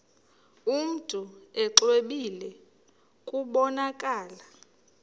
mntu exwebile kubonakala